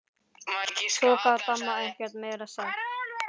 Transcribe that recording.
Svo gat amma ekkert meira sagt.